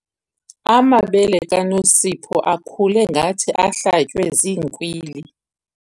Amabele kaNosipho akhule ngathi ahlatywe ziinkwili.